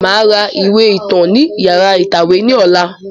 Màá ra ìwé ìtàn ni yàrá ìtàwé ní ọ̀la